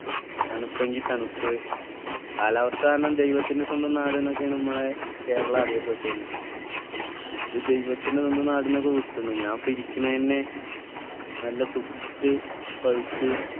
തണുപ്പെങ്കിൽ തണുപ്പ് കാലാവസ്ഥ കാരണം ദൈവത്തിൻ്റെ സ്വന്തം നാട് എന്നൊക്കെയാണ് നമ്മളെ കേരളം അറിയപ്പെട്ടിനി ഇത് ദൈവത്തിൻ്റെ സ്വന്തം നാടെന്നൊക്കെ വിട്ട്ണ് ഞാൻ ഇപ്പൊ ഇരിക്കണെന്നെ നല്ല ചുട്ട് പഴുത്ത്